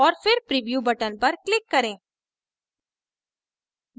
और फिर preview button पर click करें